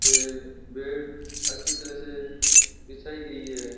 पे बेड अच्छी तरह से बिछाई गई है।